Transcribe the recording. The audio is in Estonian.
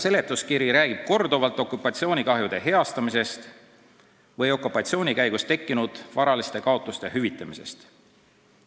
Seletuskiri räägib mitmes kohas okupatsioonikahjude heastamisest ja okupatsiooni käigus tekkinud varaliste kaotuste hüvitamisest.